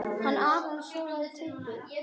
Hún var til í allt.